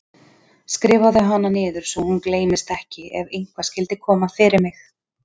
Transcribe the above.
Skrifaðu hana niður svo hún gleymist ekki ef eitthvað skyldi koma fyrir mig.